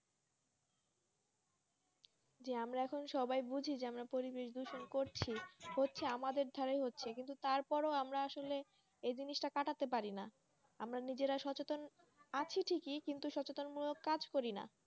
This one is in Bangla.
যে আমরা এখন সবাই বুঝি যে আমরা পরিবেশ দূষণ করছি হচ্ছে আমাদের দ্বারাই হচ্ছে কিন্তু তারপরেও আমরা আসলে ওই জিনিসটা কাটাতে পারিনা আমরা নিজেরা সচেতন আছি ঠিকই, কিন্তু সচেতন মূলক কাজ করিনা,